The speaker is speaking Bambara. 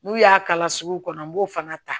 N'u y'a kala sugu kɔnɔ n b'o fana ta